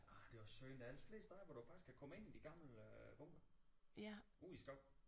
Nej det er også synd der er ellers de fleste af dem hvor du faktisk kan komme ind i de gamle bunkere ude i skoven